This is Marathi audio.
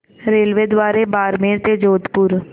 रेल्वेद्वारे बारमेर ते जोधपुर